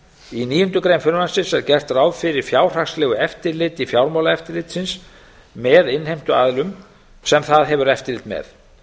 í níundu grein frumvarpsins er gert ráð fyrir fjárhagslegu eftirliti fjármálaeftirlitsins með innheimtuaðilum sem það hefur eftirlit með